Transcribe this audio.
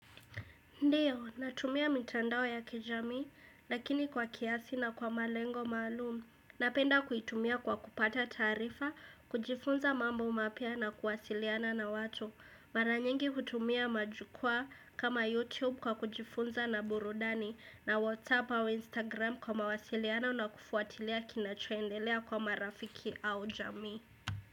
Ndiyo, natumia mitandao ya kijamii, lakini kwa kiasi na kwa malengo maalum. Napenda kuitumia kwa kupata taarifa, kujifunza mambo mapya na kuwasiliana na watu. Mara nyingi kutumia majukwaa kama YouTube kwa kujifunza na burudani na WhatsApp au Instagram kwa mawasiliano na kufuatilia kinachoendelea kwa marafiki au jamii.